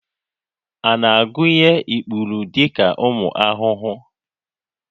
A na-agụnye ikpuru dị ka ụmụ ahụhụ?